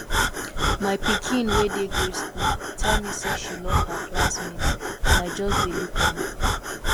my pikin wey dey grade school tell me say she love her classmate and i just dey look am